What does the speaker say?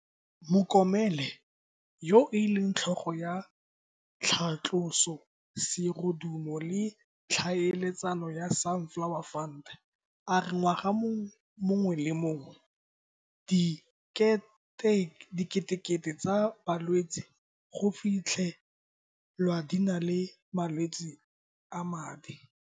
Mokomele, yo e leng tlhogo ya tlhatloso serodumo le ditlhaeletsano ya Sunflower Fund, a re ngwaga o mongwe le o mongwe diketekete tsa balwetse go fitlhe lwa di na le malwetse a madi.